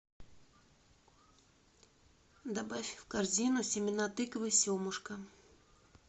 добавь в корзину семена тыквы семушка